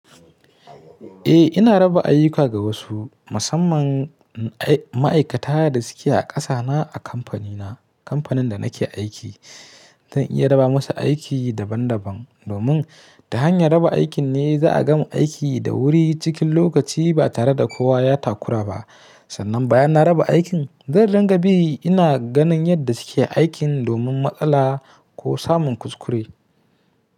Eh ina raba ayuka ga wasu, musamman ma'aikata da suke a ƙasa na a kamfani na, kamfanin da nake aiki. Zan iya raba musu aiki daban daban domin ta hanyar raba aikin ne za a gama aiki da wuri cikin lokaci ba tare da kowa ya takura ba. Sannan bayan na raba aikin, zan riƙa bi ina ganin yadda suke aikin domin matsala ko samun kuskure.